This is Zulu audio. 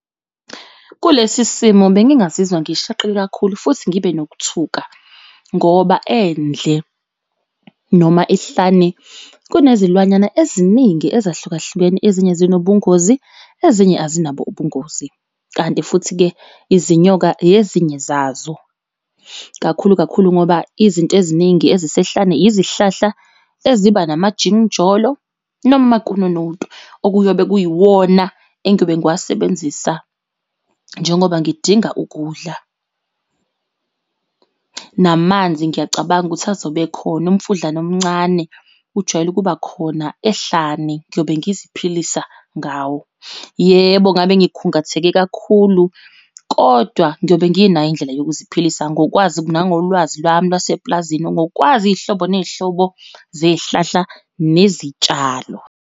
Kulesi simo bengingazizwa ngishaqeke kakhulu futhi ngibe nokuthuka ngoba endle noma ehlane kunezilwanyana eziningi ezahlukahlukene. Ezinye ezinobungozi ezinye azinabo ubungozi, kanti futhi-ke izinyoka yezinye zazo kakhulu kakhulu ngoba izinto eziningi ezisehlane izihlahla eziba namajinijolo noma amakununutu okuyobe kuyiwona engiyobe ngiwasebenzisa njengoba ngidinga ukudla. Namanzi ngiyacabanga ukuthi azobe ekhona umfudlana omncane kujwayele ukuba khona ehlane. Ngiyobe ngiyaziphilisa ngawo. Yebo ngabe ngikhungatheke kakhulu kodwa ngiyobe nginayo indlela yokuziphilisa ngokwazi nangolwazi lwami lwase eplazini. Ngokwazi iy'hlobo ney'hlobo zey'hlahla nezitshalo.